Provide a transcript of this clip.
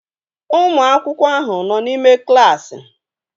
Ụmụ akwụkwọ ahụ nọ n'ime klaasị